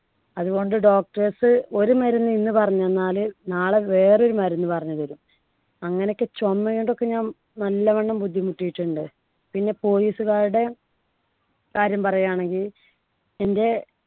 അതുകൊണ്ട് doctors ഒരു മരുന്ന് ഇന്ന് പറഞ്ഞു തന്നാല് നാളെ വേറൊരു മരുന്ന് പറഞ്ഞു തരും. അങ്ങനൊക്കെ ചുമണ്ടൊക്കെ ഞാൻ നല്ലവണ്ണം ബുദ്ധിമുട്ടിയിട്ടുണ്ട്. പിന്നെ police കാരുടെ കാര്യം പറയാണെങ്കിൽ എൻടെ